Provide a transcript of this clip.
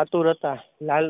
આતુર હતા લાલ